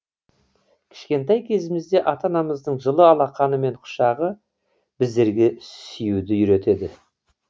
кішкентай кезімізде ата анамыздың жылы алақаны мен құшағы біздерге сүюді үйретеді